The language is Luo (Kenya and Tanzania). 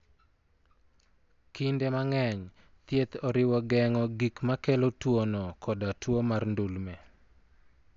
Kinde mang'eny, thieth oriwo geng'o gik makelo tuwono koda tuwo mar ndulme.